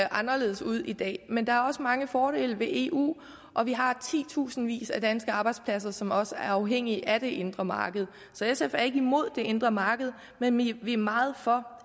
anderledes ud i dag men der er også mange fordele ved eu og vi har titusindvis af danske arbejdspladser som også er afhængige af det indre marked så sf er ikke imod det indre marked men vi er meget for